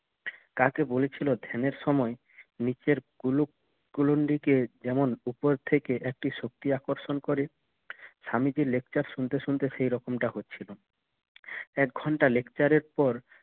কাকে বলেছিল ধ্যানের সময় নিচের কুলুপ কুলুন্ডি কে যেমন উপর থেকে একটি শক্তি আকর্ষণ করে স্বামীজির lecture শুনতে শুনতে সে রকম টা হচ্ছিল এক ঘন্টা lecture এর পর